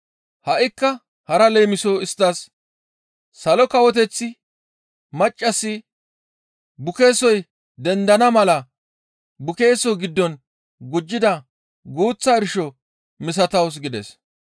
Ha7ikka hara leemiso isttas, «Salo Kawoteththi maccassi bukeesoy dendana mala bukeeso giddon gujjida guuththa irsho misatawus» gides.